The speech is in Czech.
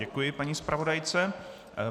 Děkuji paní zpravodajce.